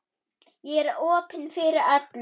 Ég er opin fyrir öllu.